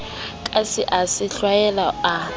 katse a se hlwella a